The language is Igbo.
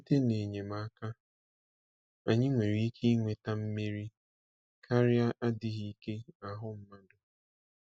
Site n’enyemaka, anyị nwere ike inweta mmeri karịa adịghị ike ahụ mmadụ.